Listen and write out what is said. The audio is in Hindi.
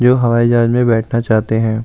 जो हवाई जहाज में बैठना चाहते हैं।